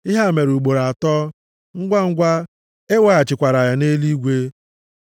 Ihe a mere ugboro atọ, ngwangwa, e weghachikwara ya nʼeluigwe.